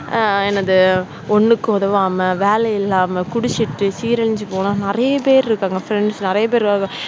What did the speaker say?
என்னது ஒன்னுக்கும் உதவாமல் வேலை இல்லாம குடிச்சிட்டு சீரழிஞ்சு போன நிறைய பேர் இருக்காங்க friends நிறைய பேர்